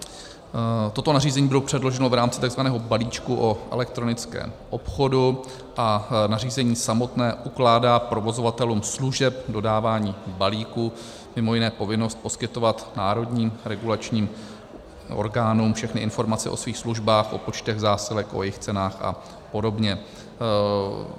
Toto nařízení bylo předloženo v rámci takzvaného balíčku o elektronickém obchodu a nařízení samotné ukládá provozovatelům služeb dodávání balíků mimo jiné povinnost poskytovat národním regulačním orgánům všechny informace o svých službách, o počtech zásilek, o jejich cenách a podobně.